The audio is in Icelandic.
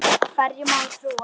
Hverjum á að trúa?